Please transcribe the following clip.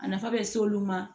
A nafa bɛ s'olu ma